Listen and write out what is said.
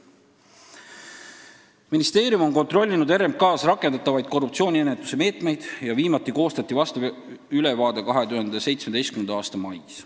Ministeerium on kontrollinud RMK-s rakendatavaid korruptsiooniennetuse meetmeid, viimati koostati sellekohane ülevaade 2017. aasta mais.